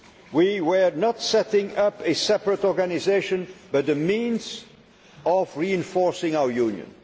We were not setting up a separate organisation but the means of reinforcing our